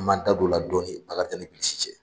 An b'an da don o la dɔɔni Bilisi cɛ